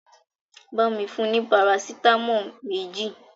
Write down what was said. Bámi fún un ní Parasitamọ́ọ̀ méjì!